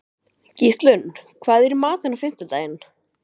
Gíslunn, hvað er í matinn á fimmtudaginn?